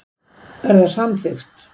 Er það samþykkt?